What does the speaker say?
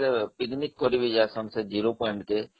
visiting କରିକି ଆସନ୍ତି ଜେରୟ point କୁ